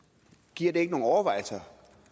giver det ikke nogen overvejelser